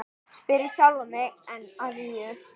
spyr ég sjálfan mig enn að nýju.